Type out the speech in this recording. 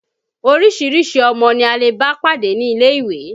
Oríṣiríṣi ọmọ ni a lè bá pàdé ní ilé-ìwé